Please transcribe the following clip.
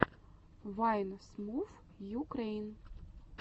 вайн смувйукрэйн